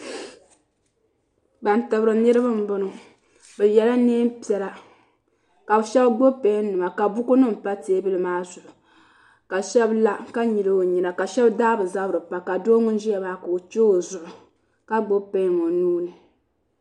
Ban tibiri niribi n bɔŋɔ.bi yela neen' piɛla. kabi shebi gbubi pen nima ka bukunima gba pa teebuli maa zuɣu. ka shebi la ka nyili ɔ nyina ka shebi daa bɛ zabiri n pa ka doo ŋun ʒiyamaa ka ɔ che ɔ zuɣu ka gbubi pen ɔ nuuni.